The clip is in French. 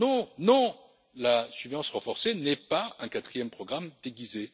Non, non, la surveillance renforcée n'est pas un quatrième programme déguisé.